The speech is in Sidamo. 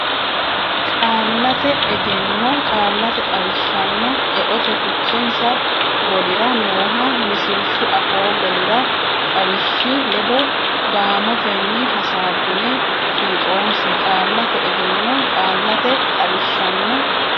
Qaallate Egenno Qaallate Xawishshanna Eote Fichensa golira nooha misilshu afoo golira xawishshi ledo gaamotenni hasaabbine fiixoonse Qaallate Egenno Qaallate Xawishshanna.